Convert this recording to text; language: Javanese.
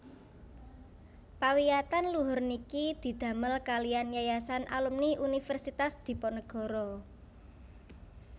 Pawiyatan luhur niki didhamél kaliyan Yayasan Alumni Universitas Diponegoro